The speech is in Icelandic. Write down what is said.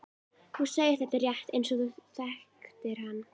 Þú segir þetta rétt eins og þú þekktir hann.